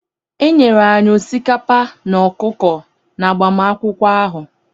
E nyere anyị osikapa na ọkụkọ n'agbamakwụkwọ ahụ.